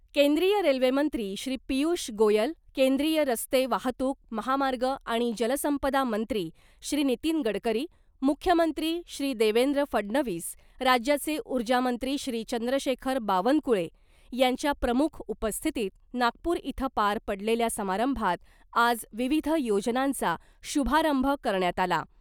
केंद्रीय रेल्वे मंत्री श्री पियुष गोयल , केंद्रीय रस्ते वाहतूक , महामार्ग आणि जलसंपदा मंत्री श्री नितीन गडकरी , मुख्यमंत्री श्री देवेंद्र फडणवीस , राज्याचे उर्जा मंत्री श्री चंद्रशेखर बावनकुळे यांच्या प्रमुख उपस्थितीत नागपूर इथं पार पडलेल्या समारंभात आज विविध योजनांचा शुभारंभ करण्यात आला .